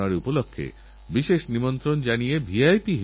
কখনও কখনও এমন রোগ আসে যে আমাদের জীবনভোর আফশোষকরতে হয়